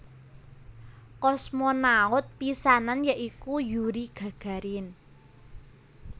Kosmonaut pisanan ya iku Yuri Gagarin